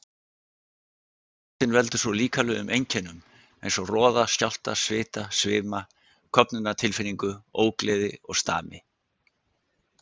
Óttinn veldur svo líkamlegum einkennum eins og roða, skjálfta, svita, svima, köfnunartilfinningu, ógleði og stami.